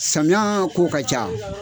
Samiya ko ka ca.